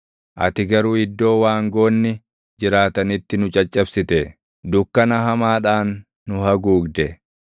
Ati garuu iddoo waangoonni jiraatanitti nu caccabsite; dukkana hamaadhaan nu haguugde.